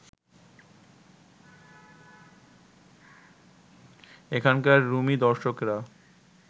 এখানকার রুমী দর্শকেরা